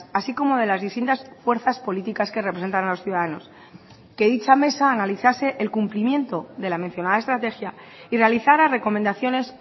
así como de las distintas fuerzas políticas que representan a los ciudadanos que dicha mesa analizase el cumplimiento de la mencionada estrategia y realizara recomendaciones